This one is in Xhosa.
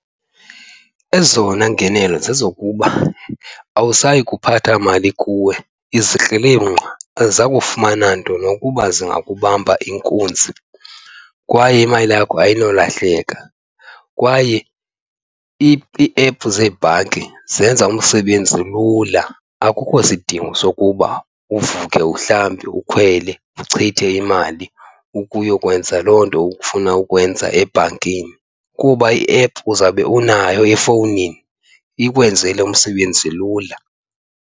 Ezona ngenelo zezokuba awusayi kuphatha mali kuwe, izikrelemnqa azakufumana nto nokuba zingakubamba inkunzi kwaye imali yakho ayinolahleki. Kwaye iephu zebhanki zenza umsebenzi lula, akukho sidingo sokuba uvuke uhlambe ukhwele uchithe imali ukuyokwenza loo nto ufuna ukwenza ebhankini kuba iephu uzawube unayo efowunini, ikwenzele umsebenzi lula.